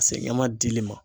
ɲaman dili ma.